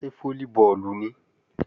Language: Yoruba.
Ṣé fólíbọọ̀lù nìí?